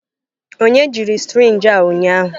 Onye jiri sirinji a ụnyahụ?